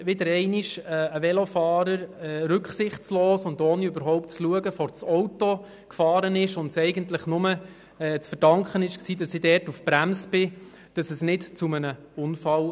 Wieder einmal ist mir ein Velofahrer rücksichtslos und ohne überhaupt zu schauen vors Auto gefahren, und eigentlich nur, weil ich dort auf die Bremse ging, kam es nicht zu einem Unfall.